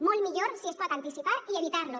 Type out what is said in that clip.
molt millor si es pot anticipar i evitar los